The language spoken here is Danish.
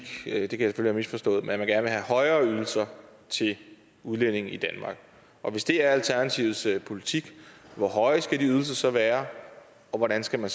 det kan jeg misforstået at man gerne vil have højere ydelser til udlændinge i danmark og hvis det er alternativets politik hvor høje skal de ydelser så være og hvordan skal man